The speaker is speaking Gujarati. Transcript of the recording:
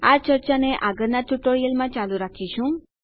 આ ચર્ચાને આગળના ટ્યુટોરીયલમાં ચાલુ રાખીશું